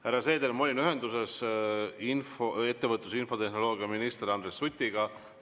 Härra Seeder, ma olin ühenduses ettevõtlus‑ ja infotehnoloogiaminister Andres Sutiga.